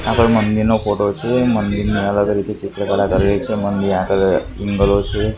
આગળ મંદિરનો ફોટો છે મંદિરની છે.